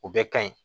O bɛɛ ka ɲi